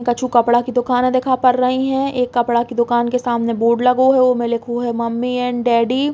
कछु कपड़ा के दुकाने दिखा पर रई है। एक कपड़ा के दुकान के सामने बोर्ड लगो है उ में लिखो है मम्मी एंड डैडी ।